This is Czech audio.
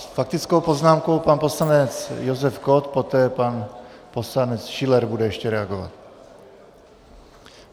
S faktickou poznámkou pan poslanec Josef Kott, poté pan poslanec Schiller bude ještě reagovat.